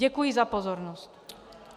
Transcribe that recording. Děkuji za pozornost.